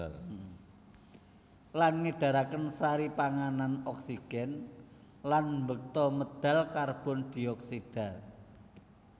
Lan ngedaraken sari panganan oksigen lan mbeta medal karbon dioksida